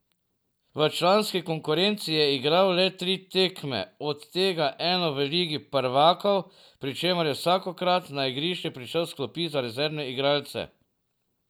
V članski konkurenci je igral le tri tekme, od tega eno v ligi prvakov, pri čemer je vsakokrat na igrišče prišel s klopi za rezervne igralce.